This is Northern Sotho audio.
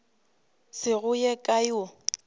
se go ye kae o